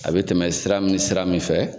A bɛ tɛmɛ sira min sira min fɛ.